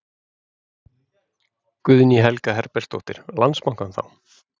Guðný Helga Herbertsdóttir: Landsbankann þá?